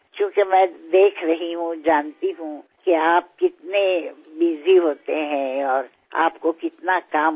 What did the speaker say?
ఎందుకంటే మీరెంత బిజీగా ఉంటున్నారో మీకు ఎంత పని ఉంటోందో నేను గమనిస్తున్నాను